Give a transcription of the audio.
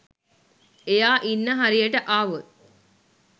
එයා ඉන්න හරියට ආවොත්